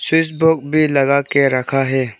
Chess board भी लगा के रखा है।